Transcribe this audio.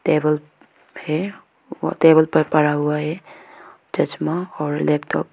Table है और table पर पड़ा हुआ है चश्मा और लैपटॉप ।